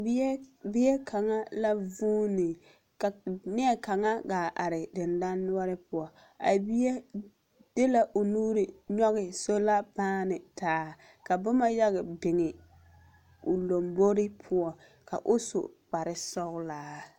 Bie bie kaŋa la vuuni, ka neɛkaŋa gaa are dendanoɔre poɔ. A bie de la o nuuri nyɔge sola paane ta aka boma yaga biŋi o lombori poɔ ka o su kparesɔgelaa.